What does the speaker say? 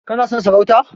Kana son sarauta?